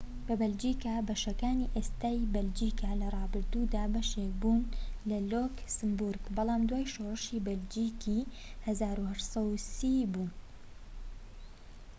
بەشەکانی ئێستای بەلجیکا لە ڕابردوودا بەشێک بوون لە لۆکسمبورگ بەڵام دوای شۆڕشی بەلجیکی 1830ی بوون‎ بە بەلجیکا